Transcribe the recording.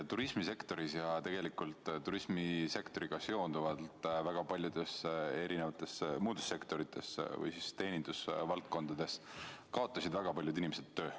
Turismisektoris ja tegelikult turismisektoriga seonduvalt väga paljudes sektorites või teenindusvaldkondades kaotasid väga paljud inimesed töö.